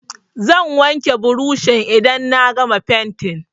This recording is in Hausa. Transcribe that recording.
Zan wanke burushin idan na gama fenti.